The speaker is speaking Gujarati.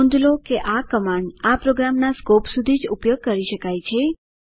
નોંધ લો કે આ કમાન્ડ આ પ્રોગ્રામના સ્કોપ સુધી જ ઉપયોગ કરી શકાય છે